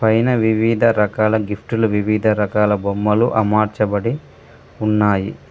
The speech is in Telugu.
పైన వివిధ రకాల గిఫ్టులు వివిధ రకాల బొమ్మలు అమర్చబడి ఉన్నాయి.